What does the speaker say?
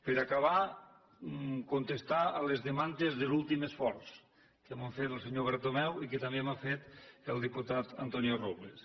per acabar contestar les demandes de l’últim esforç que m’ha fet lo senyor bertomeu i que també m’ha fet el diputat antonio robles